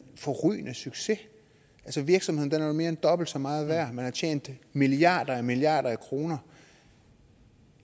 forrygende succes altså virksomheden er jo mere end dobbelt så meget værd man har tjent milliarder og milliarder af kroner